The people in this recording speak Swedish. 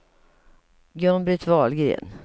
Gun-Britt Wahlgren